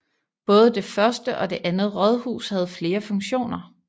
Både det første og det andet rådhus havde flere funktioner